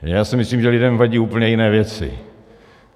Já si myslím, že lidem vadí úplně jiné věci.